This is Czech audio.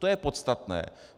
To je podstatné.